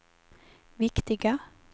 viktiga